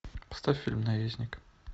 поставь фильм наездник